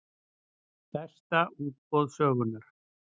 Stærsta útboð sögunnar